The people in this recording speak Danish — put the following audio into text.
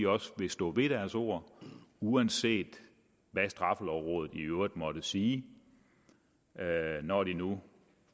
også vil stå ved deres ord uanset hvad straffelovrådet i øvrigt måtte sige når de nu